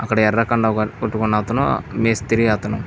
అక్కడ ఎర్ర కండువ కట్టుకుంటున్న అతను మేస్త్రి. అతను --